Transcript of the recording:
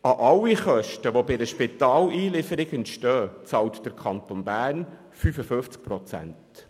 Von den Kosten, welche durch eine Einlieferung in ein Spital entstehen, bezahlt der Kanton Bern 55 Prozent.